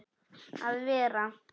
að vera.